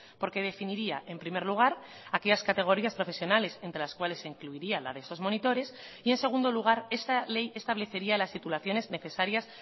porque definiría en primer lugar aquellas categorías profesionales entre las cuales se incluiría la de esos monitores y en segundo lugar esta ley establecería las titulaciones necesarias